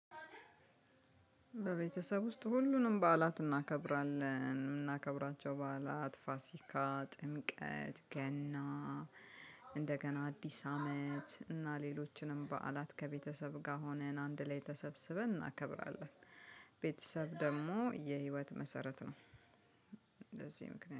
በቤተሰብ ውስጥ ሁሉንም በዓላት እናከብራለን የምናከብራቸው በዓላት ፋሲካ ጥምቀት ገና እንደገና አዲስ አመት እና ሌሎችንም በዓላት ከቤተሰብ ጋር ሆነን አንድ ላይ ተሰብስበን እናከብራለን። ቤተሰብ ደግሞ የህይወት መሰረት ነው። ለዚህ ምክንያት